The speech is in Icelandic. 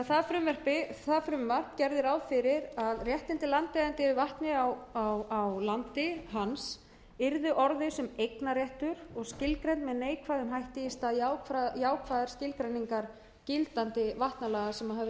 það frumvarp gerði ráð fyrir að réttindi landeiganda yfir vatni á landi hans yrði orðið sem eignarréttur og skilgreint með neikvæðum hætti í stað jákvæðrar skilgreiningar gildandi vatnalaga sem höfðu verið i gildi frá árinu